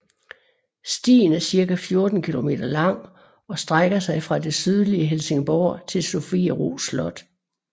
Stien er cirka 14 kilometer lang og strækker sig fra det sydlige Helsingborg til Sofiero Slot